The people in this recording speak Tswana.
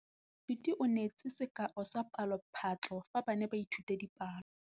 Moithuti o neetse sekaô sa palophatlo fa ba ne ba ithuta dipalo.